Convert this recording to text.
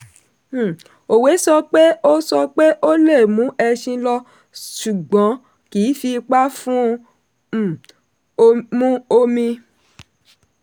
um òwe sọ pé o sọ pé o lè mú ẹṣin lọ ṣùgbọ́n kì í fi ipa fún un um mu omi.